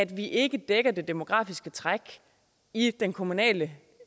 vi ikke dækker det demografiske træk i den kommunale